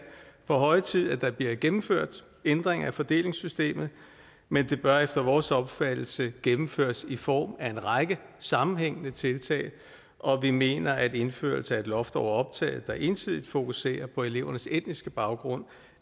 på høje tid at der bliver gennemført ændringer af fordelingssystemet men det bør efter vores opfattelse gennemføres i form af en række sammenhængende tiltag og vi mener at indførelse af et loft over optaget der ensidigt fokuserer på elevernes etniske baggrund